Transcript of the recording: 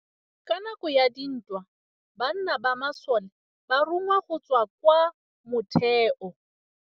Ka nakô ya dintwa banna ba masole ba rongwa go tswa kwa mothêô.